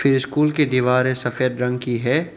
ये स्कूल की दीवारें सफेद रंग की है।